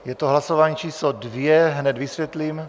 Je to hlasování číslo 2 - hned vysvětlím.